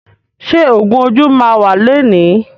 Ṣé ògún ojú máa wà lẹni?